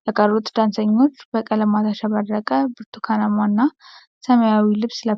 የተቀሩት ዳንሰኞች በቀለማት ያሸበረቀ ብርትኳናማና ሰማያዊ ልብስ ለብሰዋል።